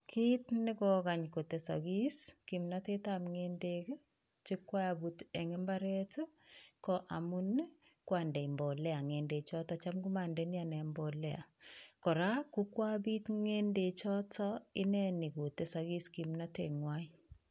Kit ne koyai kotesokis kimnatetab ng'endek che koabut en mbaret ko amun ko ande mbolea ng'edechotet maacham ondoi ane mbolea. kora kokoabit ng'edechoto ineni kotesokis kimnatet nywan.